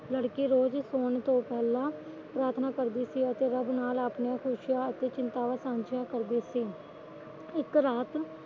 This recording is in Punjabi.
ਲੜਕੀ ਸੋਣ ਤੋ ਪਹਿਲਾਂ ਪ੍ਰਾਥਨਾ ਕਰਦੀ ਸੀ ਅਤੇ ਆਪਣੀਆਂ ਖੁਸ਼ੀਆਂ ਚਿੰਤਾਵਾਂ ਸਾਝੀਆਂ ਕਰਦੀ ਸੀ ਇੱਕ ਰਾਤ